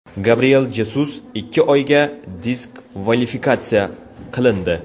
Gabriel Jezus ikki oyga diskvalifikatsiya qilindi.